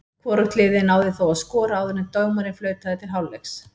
Hvorugt liðið náði þó að skora áður en dómarinn flautaði til hálfleiks.